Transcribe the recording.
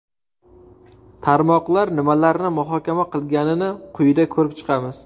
Tarmoqlar nimalarni muhokama qilganini quyida ko‘rib chiqamiz.